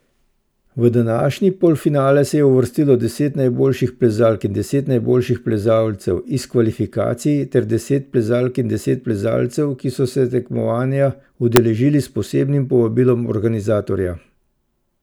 V današnji polfinale se je uvrstilo deset najboljših plezalk in deset najboljših plezalcev iz kvalifikacij ter deset plezalk in deset plezalcev, ki so se tekmovanja udeležili s posebnim povabilom organizatorja.